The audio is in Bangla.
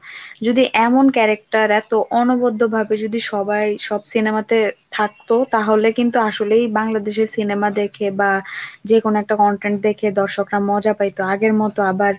যদি এমন character এতো অনবদ্দ্ব ভাবে যদি সবাই সব cinema তে থাকতো, তাহলে কিন্তু আসলেই বাংলাদেশের cinema দেখে বা যেকোনো একটা content দেখে দর্শকরা মজা পাইতো আগের মতো আবার,